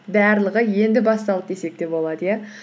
барлығы енді басталды десек те болады иә